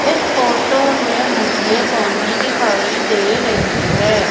इस फोटो में मुझे बाउंड्री दिखाई दे रही हैं।